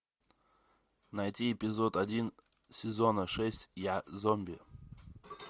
найти эпизод один сезона шесть я зомби